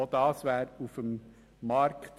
Auch das wäre eine mögliche Lösung auf dem Markt.